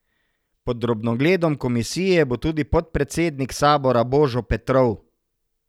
Pod drobnogledom komisije bo tudi podpredsednik sabora Božo Petrov.